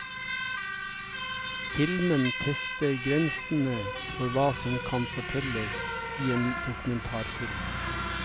Filmen tester grensene for hva som kan fortelles i en dokumentarfilm.